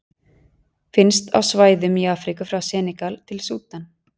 Finnst á svæðum í Afríku frá Senegal til Súdan.